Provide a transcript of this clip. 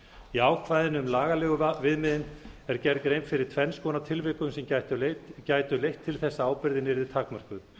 í ákvæðinu um lagalegu viðmiðin er gerð grein fyrir tvenns konar tilvikum sem gætu leitt til þess að ábyrgðin yrði takmörkuð